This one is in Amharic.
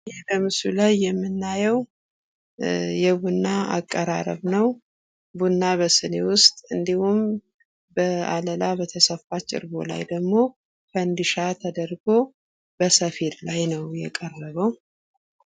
በምስሉ ላይ የምናየው የቡና አቀራረብ ቡና በሲኒ ውስጥ እንዲሁም በዓለላ በተሰፋች እርቦ ላይ ደግሞ ፈንዲሻ ተደርጎ በሄድ ላይ ነው የቀረበው።